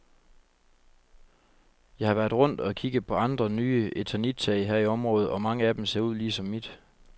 Jeg har været rundt og kigge på andre nye eternittage her i området og mange af dem ser ud ligesom mit.